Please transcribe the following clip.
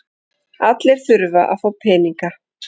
Allir þurfa að fá peninga.